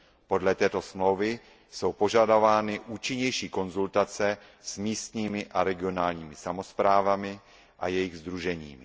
Podle této smlouvy jsou požadovány účinnější konzultace s místními a regionálními samosprávami a jejích sdruženími.